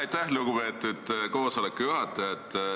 Aitäh, lugupeetud koosoleku juhataja!